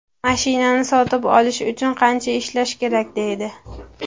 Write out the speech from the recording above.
Mashinani sotib olish uchun qancha ishlash kerak”, deydi.